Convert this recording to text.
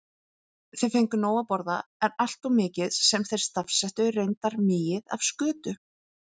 Þeir fengju nóg að borða, en alltof mikið- sem þeir stafsettu reyndar migið- af skötu.